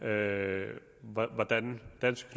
af hvordan dansk